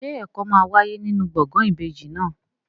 Ṣé ẹ̀kọ́ máa wáyé nínú gbọ̀ngàn ìbejì náà?